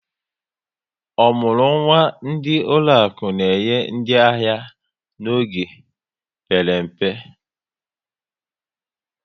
Omurunwa ndị ụlọaku na-enye ndị ahịa n'oge mpere mpe